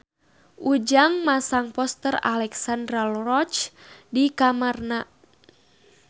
Ujang masang poster Alexandra Roach di kamarna